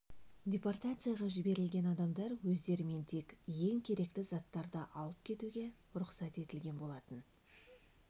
депортацияға жіберілген адамдар өздерімен тек ең керекті заттарды алып кетуге рұқсат етілген болатын